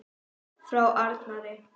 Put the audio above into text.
Frá Arnari?